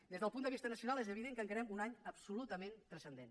des del punt de vista nacional és evident que encarem un any absolutament transcendent